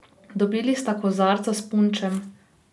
Dobili sta kozarca s punčem.